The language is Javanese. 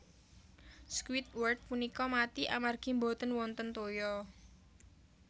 Squidward punika mati amargi boten wonten toya